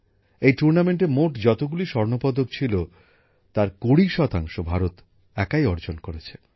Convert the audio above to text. এই টুর্নামেন্টে মোট যতগুলি স্বর্ণ পদক ছিল তার কুড়ি শতাংশ ভারত একাই পেয়েছে